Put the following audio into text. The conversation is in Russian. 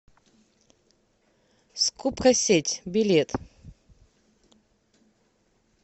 скупкасеть билет